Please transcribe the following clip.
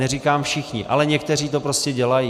Neříkám všichni, ale někteří to prostě dělají.